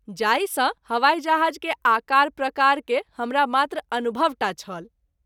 जाहि सँ हवाई जहाज़ के आकार प्रकार के हमरा मात्र अनुभव टा छल।